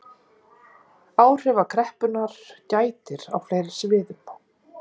Áhrifa kreppunnar gætir á fleiri sviðum